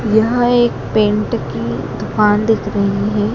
यह एक पेंट की दुकान दिख रही है।